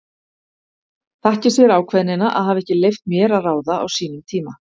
Þakki sér ákveðnina að hafa ekki leyft mér að ráða á sínum tíma.